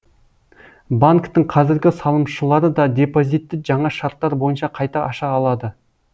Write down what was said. банктің қазіргі салымшылары да депозитті жаңа шарттар бойынша қайта аша алады